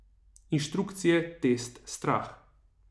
Inštrukcije, test, strah...